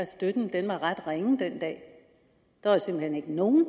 støtten var ret ringe den dag der var simpelt hen ikke nogen